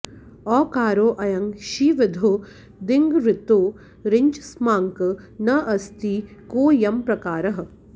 औकारो ऽयं शीविधौ ङिद्गृहीतो ङिच्चास्माकं न अस्ति को ऽयं प्रकारः